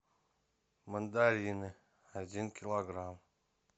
мандарины один килограмм